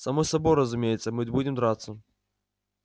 само собой разумеется мы будем драться